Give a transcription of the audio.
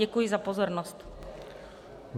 Děkuji za pozornost.